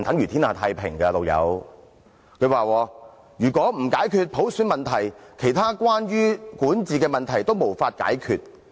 他說，如果不解決普選問題，其他關於管治的問題均無法解決。